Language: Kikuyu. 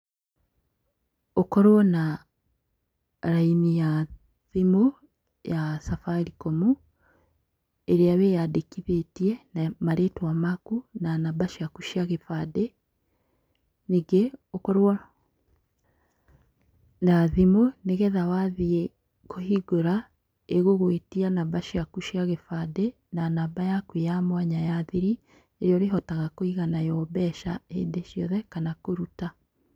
Ũkorwo na raini ya thimũ ya Safaricom, ĩrĩa wĩandĩkithĩtie na marĩtwa maku na namba ciaku cia gĩbande . Ningĩ, ũkorwo na thimũ nĩgetha wathiĩ kũhingũra, ĩgũgwĩtia namba ciaku cia gĩbandĩ na namba yaku ya thiri, ĩrĩa ũrĩhotaga kũiga nayo mbeca hĩndĩ ciothe kana kũruta.